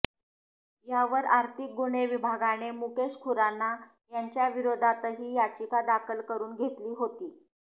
यावर आर्थिक गुन्हे विभागाने मुकेश खुराना याच्याविरोधातही याचिका दाखल करुन घेतली होती